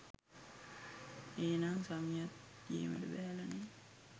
ඒනං සමියත් ගේමට බැහැල නේහ්!